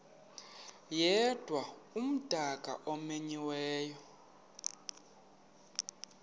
yedwa umdaka omenyiweyo